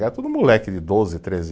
Era tudo moleque de doze, treze